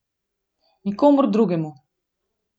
Nikomur drugemu.